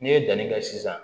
N'i ye danni kɛ sisan